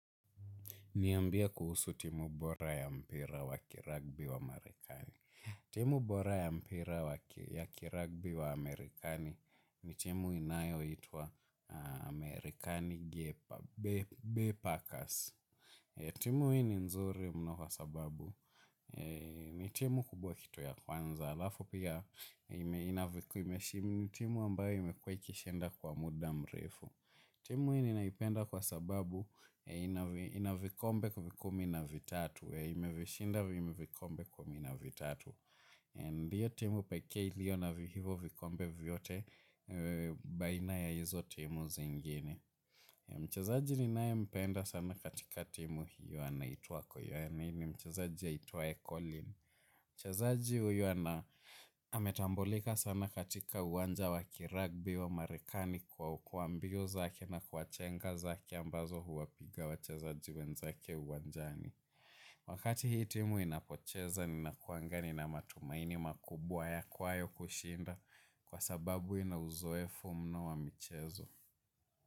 Niambie kuhusu timu bora ya mpira wa kiragbi wa Amerikani. Timu bora ya mpira wa ya kiragbi wa Amerikani ni timu inayoitwa Amerikani Gepa Bay Packers. Timu hii ni nzuri mno kwa sababu. Ni timu kubwa kitu ya kwanza. Alafu pia ime inavyo kuwa imeshinda ni timu ambayo imekuwa ikishinda kwa muda mrefu. Timu hii ninaipenda kwa sababu inavikombe kumi na vitatu, ime vishinda vikombe kumi na vitatu. Ndiyo timu pekee ilio na hivyo vikombe vyote baina ya hizo timu zingine. Mchezaji ninaye mpenda sana katika timu hiyo anaitwa. Ni ni mchezaji aitwaye colin. Mchezaji huyo ametambulika sana katika uwanja wa kirugby wa marekani kwa kuwa mbio zake na kwa chenga zake ambazo huwapiga wachezaji wenzake uwanjani. Wakati hii timu inapocheza ni nakuanga nina matumaini makubwa ya kwayo kushinda kwa sababu inauzoefu mno wa michezo.